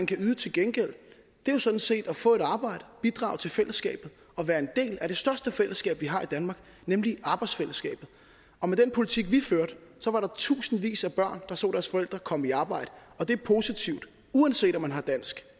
kan yde til gengæld sådan set at få et arbejde bidrage til fællesskabet og være en del af de største fællesskab vi har i danmark nemlig arbejdsfællesskabet og med den politik vi førte var der tusindvis af børn der så deres forældre komme i arbejde og det er positivt uanset om man har dansk